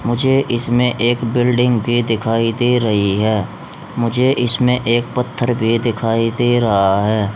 मुझे इसमें एक बिल्डिंग भी दिखाई दे रही है मुझे इसमें एक पत्थर भी दिखाई दे रहा है।